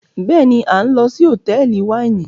béèni a n lò sí Hotẹẹli Wáìnì.